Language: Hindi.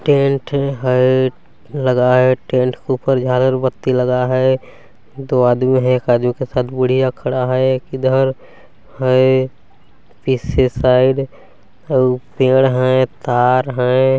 टेंट है लगाए टेंट के ऊपर झालर बत्ती लगा है दो आदमी है एक आदमी के साथ बुढ़िया खड़ा है एक इधर है तीसरे साइड पेड़ हैं तार हैं।